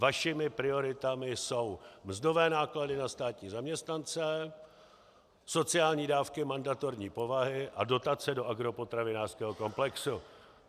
Vašimi prioritami jsou mzdové náklady na státní zaměstnance, sociální dávky mandatorní povahy a dotace do agropotravinářského komplexu.